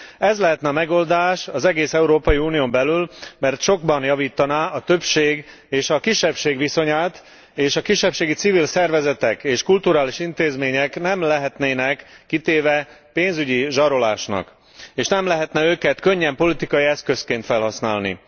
Ez lehetne a megoldás az egész Európai Unión belül, mert sokban javítaná a többség és a kisebbség viszonyát, és a kisebbségi civil szervezetek és kulturális intézmények nem lehetnének kitéve pénzügyi zsarolásnak, és nem lehetne őket könnyen politikai eszközként felhasználni.